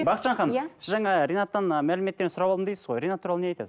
бақытжан ханым иә сіз жаңа ринаттан ы мәліметтер сұрап алдым дейсіз ғой ринат туралы не айтасыз